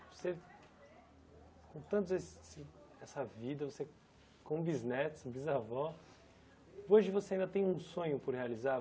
Você, com tantos esses essa vida, você com bisnetos, bisavó, hoje você ainda tem um sonho por realizar?